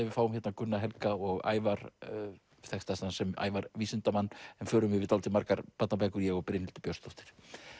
við fáum hérna Gunna Helga og Ævar þekktastan sem Ævar vísindamenn förum yfir dálítið margar barnabækur ég og Brynhildur Björnsdóttir